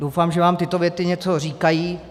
Doufám, že vám tyto věci něco říkají.